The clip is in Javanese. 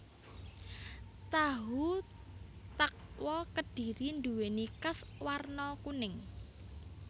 Tahu takwa Kedhiri duwéni kas warna kuning